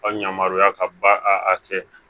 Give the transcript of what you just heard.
Aw yamaruya ka ba a kɛ